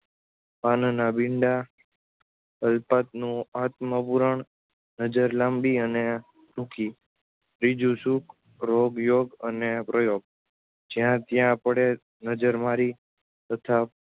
પાનનાં બીડાં અલ્પતનુ આત્મ પુરાણ નજર લાંબી અને ટૂંકી ત્રીજું સુખ રોગયોગ અને પ્રયોગ જ્યાંત્યા પડે નજરમારી તથા